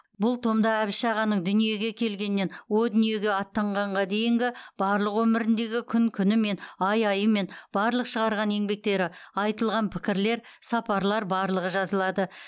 бұл томда әбіш ағаның дүниеге келгеннен о дүниеге аттанғанға дейінгі барлық өміріндегі күн күнімен ай айымен барлық шығарған еңбектері айтылған пікірлер сапарлар барлығы жазылады